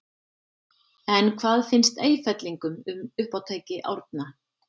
En hvað finnst Eyfellingum um uppátæki Árna?